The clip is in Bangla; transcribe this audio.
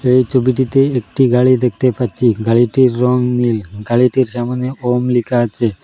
এই ছবিটিতে একটি গাড়ি দেখতে পাচ্ছি গাড়িটির রং নীল গাড়িটির সামনে ওম লেখা আছে।